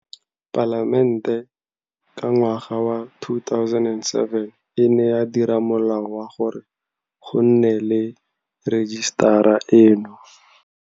Palamente ka ngwaga wa 2007 e ne ya dira Molao wa gore go nne le rejisetara eno.